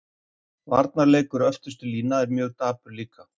Varnarleikur öftustu línu mjög dapur líka.